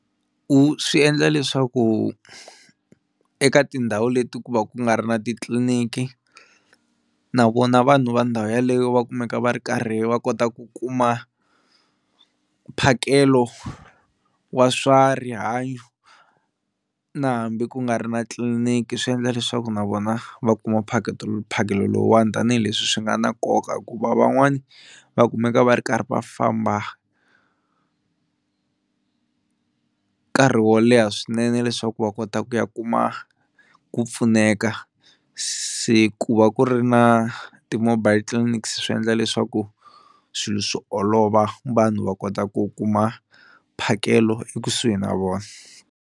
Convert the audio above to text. Wu swi endla leswaku eka tindhawu leti ku va ku nga ri na titliliniki na vona vanhu va ndhawu yeleyo va kumeka va ri karhi va kota ku kuma mphakelo wa swa rihanyo na hambi ku nga ri na tliniki swi endla leswaku na vona va kuma mphakelo lowuwani tanihileswi swi nga na nkoka hikuva van'wani va kumeka va ri karhi va famba nkarhi wo leha swinene leswaku va kota ku ya kuma ku pfuneka, se ku va ku ri na ti-mobile clinics swi endla leswaku swilo swi olova vanhu va kota ku kuma mphakelo ekusuhi na vona.